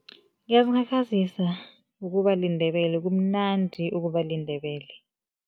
Ngiyazikhakhazisa ukuba liNdebele, kumnandi ukuba liNdebele.